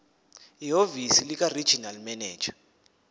ehhovisi likaregional manager